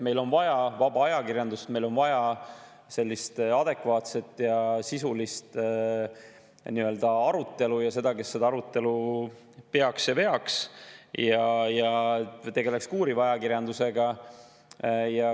Meil on vaja vaba ajakirjandust, meil on vaja adekvaatset ja sisulist arutelu ja neid, kes seda arutelu peaks ja veaks ja tegeleks ka uuriva ajakirjandusega.